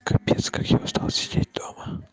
капец как я устал сидеть дома